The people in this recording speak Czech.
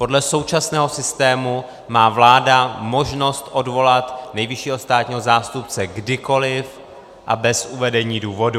Podle současného systému má vláda možnost odvolat nejvyššího státního zástupce kdykoliv a bez uvedení důvodu.